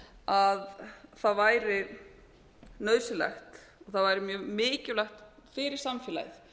að það væri nauðsynlegt og það væri mjög mikilvægt fyrir samfélagið